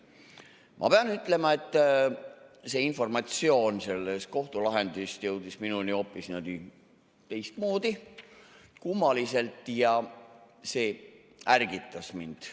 Ma pean ütlema, et see informatsioon sellest kohtulahendist jõudis minuni hoopis teistmoodi, kummaliselt, ja see ärgitas mind.